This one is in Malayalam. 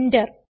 എന്റർ